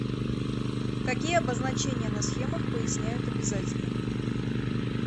какие обозначения на схемах поясняют обязательно